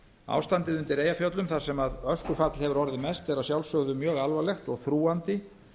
ástandið undir eyjafjöllum þar sem öskufall hefur orðið mest er að sjálfsögðu mjög alvarlegt og þrúgandi